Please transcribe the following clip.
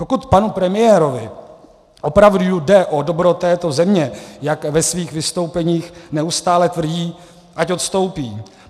Pokud panu premiérovi opravdu jde o dobro této země, jak ve svých vystoupeních neustále tvrdí, ať odstoupí.